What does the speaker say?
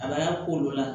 A b'a ko olu la